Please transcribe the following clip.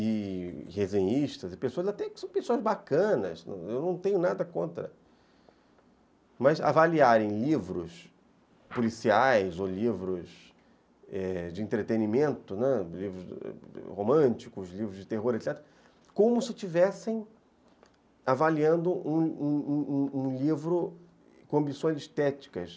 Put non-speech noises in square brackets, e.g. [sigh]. e resenhistas e pessoas, até que são pessoas bacanas, eu não tenho nada contra, mas avaliarem livros policiais ou livros eh de entretenimento, né, [unintelligible] livros românticos, livros de terror, etc., como se estivessem avaliando um um um livro com ambições estéticas.